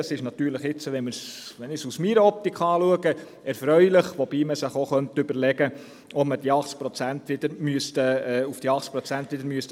Aus meiner Optik ist dies natürlich erfreulich, wobei man sich auch überlegen könnte, ob man wieder auf die 80 Prozent kommen müsste.